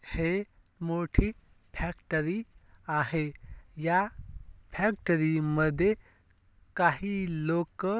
हे एक मोठी फॅक्टरी आहे या फॅक्टरी मध्ये काही लोक--